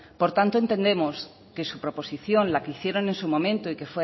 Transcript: por tanto entendemos que su proposición la que hicieron en su momento y